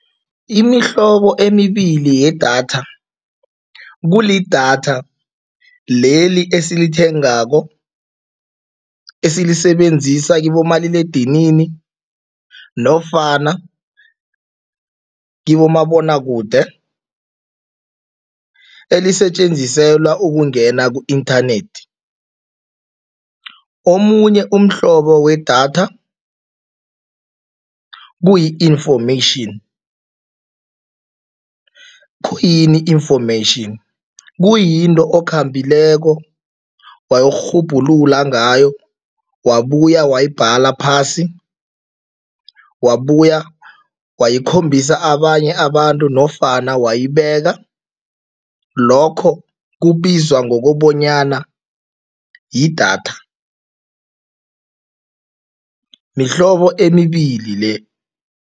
Imihlobo emibili yedatha, kulidatha leli esithengako esilisebenzisa kibomaliledinini nofana kibomabonwakude, elisetjenziselwa ukungena ku-inthanethi. Omunye umhlobo wedatha, kuyi-information. Khuyini information? Kuyinto okhambileko wayokurhubhulula ngayo, wabuya wayibhala phasi, wabuyela wayikhombisa abanye abantu nofana wayibeka, lokho kubizwa ngokobanyana yidatha, mihlobo emibili le.